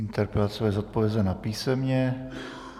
Interpelace bude zodpovězena písemně.